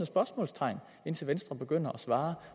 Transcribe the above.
spørgsmålstegn indtil venstre begynder at svare